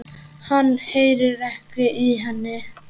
Hann heyrir ekki í henni.